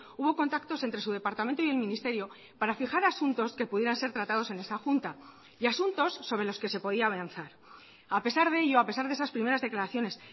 hubo contactos entre su departamento y el ministerio para fijar asuntos que pudieran ser tratados en esa junta y asuntos sobre los que se podía avanzar a pesar de ello a pesar de esas primeras declaraciones